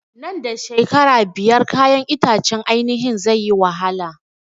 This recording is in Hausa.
Nan da shekara biyar kayan itacen ainihin zai yi wahala